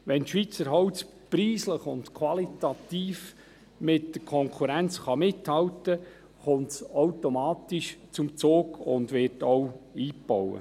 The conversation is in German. Wenn Schweizer Holz preislich und qualitativ mit Konkurrenz mithalten kann, kommt es automatisch zum Zug und wird auch eingebaut.